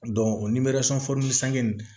o